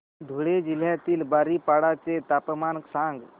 धुळे जिल्ह्यातील बारीपाडा चे तापमान सांग